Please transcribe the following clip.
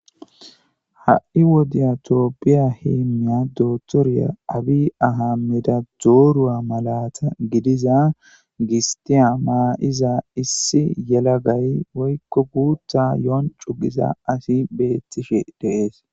Ha'i wodiyatooppiya hiimmiya dootoriya abi aha mida doorua malata gidiza gistiya maa'iza issi yelagay woykko guutha yoon cugiza asi beettishe deees.